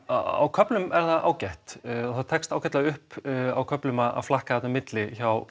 á köflum er það ágætt það tekst ágætlega upp á köflum að flakka þarna á milli hjá